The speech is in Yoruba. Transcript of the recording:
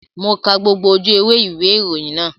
Mo ka gbogbo ojú ewé ìwé ìròyìn náà